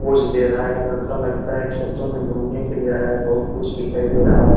Pose दे रहा है ये लड़का लगता है खेतों में घूमने के लिए आया है बहुत कुछ दिखाई दे रहा है।